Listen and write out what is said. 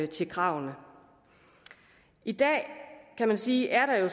til kravene i dag kan man sige er der jo